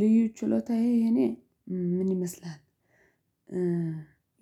ልዩ ችሎታዬ የኔ ምን ይመስላል?